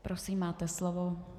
Prosím máte slovo.